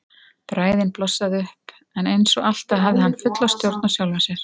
Bræðin blossaði upp en eins og alltaf hafði hann fulla stjórn á sjálfum sér.